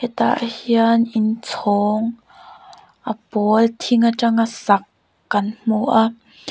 hetah hian in chhawng a pawl thing atanga sak kan hmu a.